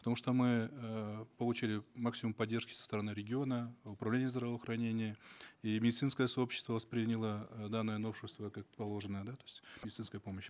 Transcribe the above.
потому что мы эээ получили максимум поддержки со стороны региона управления здравоохранения и медицинское сообщество восприняло э данное новшество как положено да то есть медицинская помощь